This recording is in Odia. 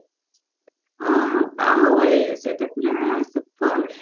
ହଁ ହଁ ବାହୁବଳି ସେତ ପୁରା supper